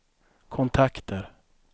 kontakter